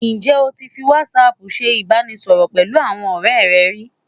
Ǹjẹ́ o ti fi WhatsApp ṣe ìbánisọ̀rọ̀ pẹ̀lú àwọn ọ̀rẹ́ rẹ rí?